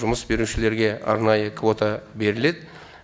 жұмыс берушілерге арнайы квота беріледі